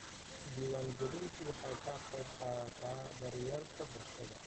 Diiwaangelintu waxay ka qaybqaadataa daryeelka bulshada.